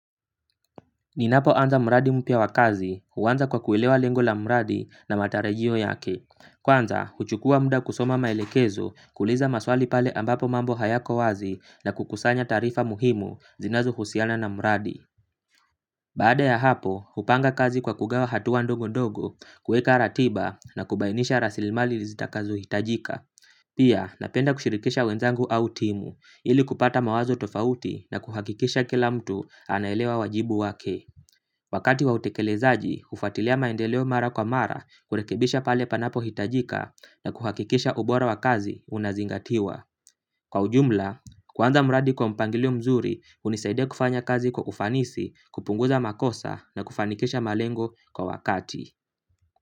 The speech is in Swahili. Ninapo anza mradi mpya wa kazi, huanza kwa kuelewa lengo la mradi na matarajio yake. Kwanza, huchukua muda kusoma maelekezo kuuliza maswali pale ambapo mambo hayako wazi na kukusanya taarifa muhimu zinazo husiana na mradi. Baada ya hapo, hupanga kazi kwa kugawa hatua ndongo ndongo, kuweka ratiba na kubainisha rasilimali zitakazo hitajika. Pia, napenda kushirikisha wenzangu au timu, ili kupata mawazo tofauti na kuhakikisha kila mtu anaelewa wajibu wake. Wakati wa utekelezaji, hufuatilia maendeleo mara kwa mara kurekebisha pale panapo hitajika na kuhakikisha ubora wa kazi unazingatiwa. Kwa ujumla, kuanza mradi kwa mpangilio mzuri hunisaidia kufanya kazi kwa ufanisi kupunguza makosa na kufanikisha malengo kwa wakati.